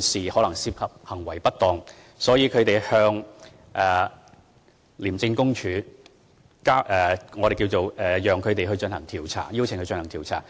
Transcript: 事可能涉及行為不當，所以向廉署舉報，邀請他們進行調查。